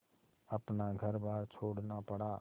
अपना घरबार छोड़ना पड़ा